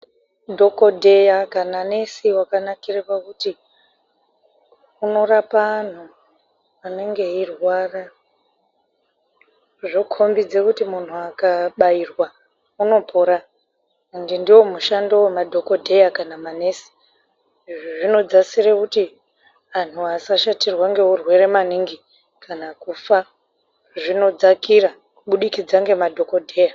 Dhokodheya kana nesi wakanakira pakuti unorapa antu anenge eirwara. Zvokhombidza kuti muntu kana muntu akabairwa unopora. Ende mushando wemadhokodheya kana manesi. Izvi zvinodzasira kuti antu asashatirwa ngeurwere maningi kana kufa. Zvinodzakaira kubudikidza ngemadhokodheya.